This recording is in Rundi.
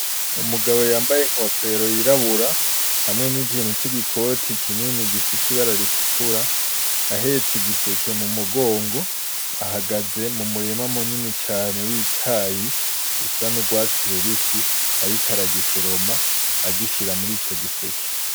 Umugabo yambaye inkofero y'irabura hamwe n'ikintu c'igikoti kinini gifise ibara ritukura , ahetse igiseke mu mugongo , ahagaze mu murima munini cane w'icayi usa n'urwatsi rubisi, ariko aragisoroma agishira muri ico giseke.